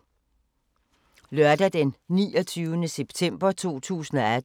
Lørdag d. 29. september 2018